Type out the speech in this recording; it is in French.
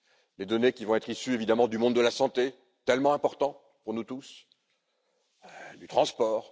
les données qui vont être issues évidemment du monde de la santé tellement important pour nous tous du transport...